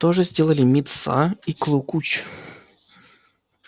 то же сделалали мит са и клу куч